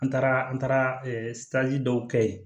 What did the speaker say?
An taara an taara dɔw kɛ ye